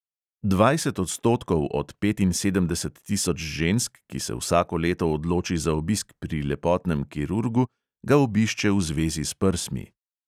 Dvajset odstotkov od petinsedemdeset tisoč žensk, ki se vsako leto odloči za obisk pri lepotnem kirurgu, ga obišče v zvezi s prsmi.